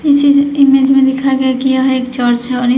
इस इज इमेज में देखा गया कि यह एक चर्च है और इस--